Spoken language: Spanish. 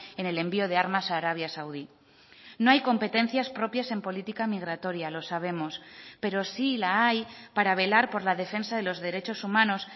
en el envió de armas a arabia saudí no hay competencias propias en política migratoria lo sabemos pero sí la hay para velar por la defensa de los derechos humanos